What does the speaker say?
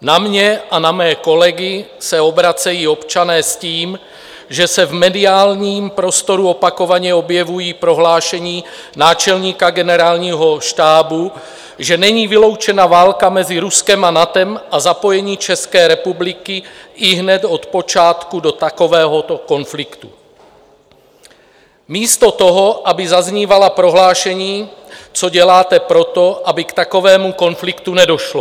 Na mě a na mé kolegy se obracejí občané s tím, že se v mediálním prostoru opakovaně objevují prohlášení náčelníka Generálního štábu, že není vyloučena válka mezi Ruskem a NATO a zapojení České republiky ihned od počátku do takovéhoto konfliktu - místo toho, aby zaznívala prohlášení, co děláte pro to, aby k takovému konfliktu nedošlo.